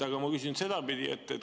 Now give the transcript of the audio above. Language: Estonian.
Aga ma küsin sedapidi.